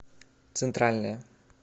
центральная